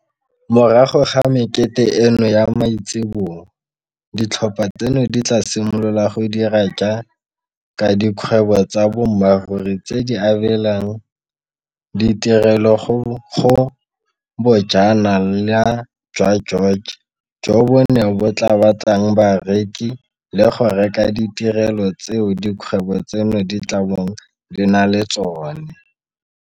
Morago ga mekete eno ya maitseboa, ditlhopha tseno di tla simolola go dira jaaka dikgwebo tsa boammaruri tse di abelang ditirelo go Bojana la jwa George, joo bone bo tla batlang bareki le go reka ditirelo tseo dikgwebo tseno di tla bong di na le tsone.